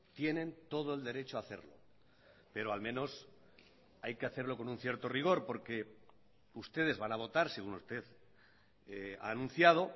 tienen todo el derecho a hacerlo pero al menos hay que hacerlo con un cierto rigor porque ustedes van a votar según usted ha anunciado